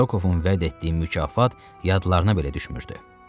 Rokovun vəd etdiyi mükafat yadlarına belə düşmürdü.